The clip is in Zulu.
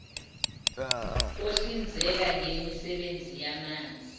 ohlinzeka ngemisebenzi yamanzi